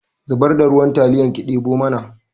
Zubar da ruwan taliyar ki ɗemo mana